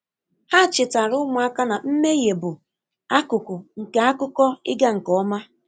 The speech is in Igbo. Ha chetaara ụmụaka na mmehie bụ akụkụ nke akụkọ ịga nke ọma